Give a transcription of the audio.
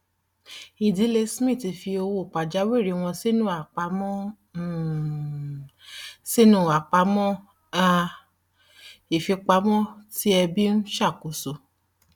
ìdílé smith fi owó pajawiri wọn sínú àpamọ um sínú àpamọ um ìfipamọ tí ẹbí ń ṣàkóso